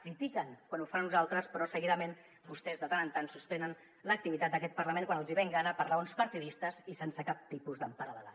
critiquen quan ho fan uns altres però seguidament vostès de tant en tant suspenen l’activitat d’aquest parlament quan els hi ve en gana per raons partidistes i sense cap tipus d’empara legal